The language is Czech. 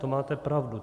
To máte pravdu.